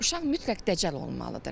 Uşaq mütləq dəcəl olmalıdır.